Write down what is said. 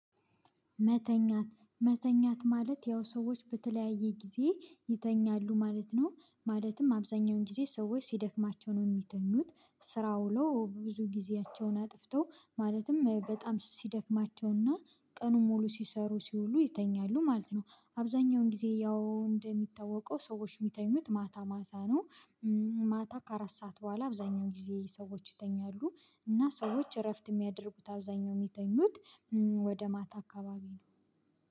መተኛት መተኛት ማለት ያው ሰዎች በተለያየ ጊዜ ይተኛሉ ማለት ነው ማለትም አብዛኛውን ጊዜ ሰዎች ሲደክማቸው ነው እሚተኙት ስራ ውለው ብዙ ጊዜያቸውን አጥፍተው ማለትም በጣም ሲደክማቸውና ቀኑን ሙሉ ሲሰሩ ሲውሉ ይተኛሉ ማለት ነው አብዛኛውን ጊዜ ያው እንደሚታወቀው ሰዎች እሚተኙት ማታ ማታ ነው። ማታ ከአራት ሰዓት በኋላ አብዛኛውን ጊዜ ሰዎች ይተኛሉ። እና ሰዎች እረፍት እሚያደርጉት አብዛኛው እሚተኙት ወደ ማታ አካባቢ ነው።